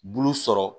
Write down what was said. Bulu sɔrɔ